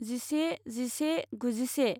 जिनै जिसे गुजिसे